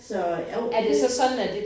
Så jo det